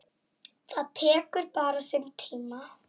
Það tekur bara sinn tíma.